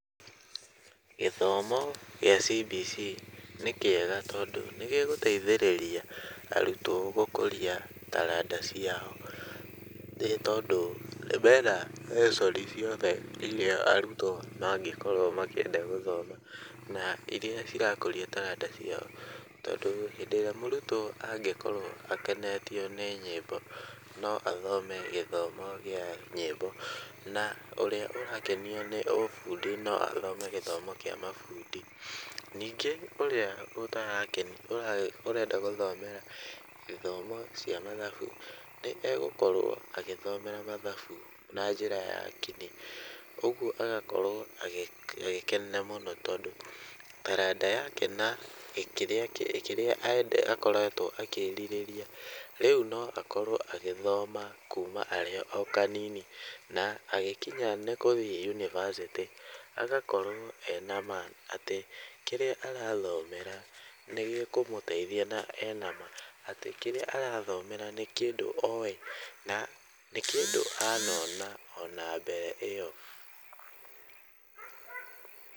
Gĩthomo gĩa CBC nĩ kĩega tondũ nĩ gĩgũteithĩrĩria arutwo gũkũria taranda ciao, nĩ tondũ mena lesson ciothe irĩa arutwo mangĩkorwo makĩenda gũthoma, na irĩa cirakũria taranda ciao, tondũ rĩrĩa mũrutwo angĩkorwo akenetio nĩ nyĩmbo no athome gĩthomo gĩa nyĩmbo, na ũrĩa ũrakenio nĩ ũbundi no athome gĩthomo kĩa mabundi , ningĩ ũrĩa ũtarakena, ũrenda gũthomera gĩthomo cia mathabu, nĩ egũkorwo agĩthomera mathabu na njĩra ya kinyi, ũguo agakorwo agĩkenera mũno tondũ taranda yake na kĩrĩa akoretwo akĩrirĩria , rĩu no akorwo agĩthoma kuma arĩ o kanini , na agĩkinya nĩ gũthiĩ yunibacĩtĩ agakorwo e nama atĩ kĩrĩa arathomera nĩgĩkũmũteithia, na ena ma atĩ kĩrĩa arathomera nĩ kĩndũ owĩ na nĩ kĩndũ anona ona mbere ĩyo.